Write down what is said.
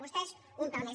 vostès un pèl més